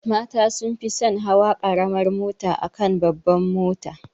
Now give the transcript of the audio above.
Mata sun fi son hawa karamar mota akan babbar mota.